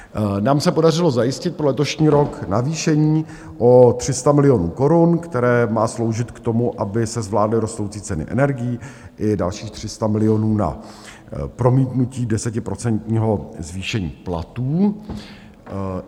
Nám se podařilo zajistit pro letošní rok navýšení o 300 milionů korun, které má sloužit k tomu, aby se zvládly rostoucí ceny energií, i dalších 300 milionů na promítnutí desetiprocentního zvýšení platů.